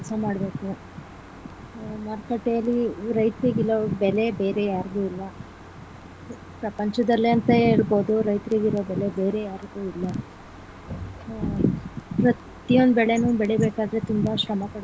ಕೆಲಸ ಮಾಡ್ಬೇಕು ಮಾರುಕಟ್ಟೆಯಲ್ಲಿ ರೈತರಿಗೆ ಇರೋ ಬೆಲೆ ಬೇರೆ ಯಾರಿಗೂ ಇಲ್ಲ ಪ್ರಪಂಚದಲ್ಲೇ ಅಂತ ಹೇಳಬೋದು ರೈತ್ರ್ರಿಗಿರೋ ಬೆಲೆ ಬೇರೆ ಯಾರಿಗೂ ಇಲ್ಲ ಹ ಪ್ರತಿಯೊಂದು ಬೆಳೆನು ಬೆಳಿಬೇಕಾದ್ರೆ ತುಂಬಾ ಶ್ರಮ ಪಡಬೇಕಾಗುತ್ತೆ.